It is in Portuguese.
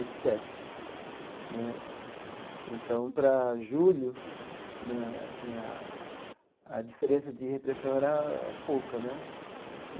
E sete né então, para julho né assim, a a diferença de repressão era pouca né.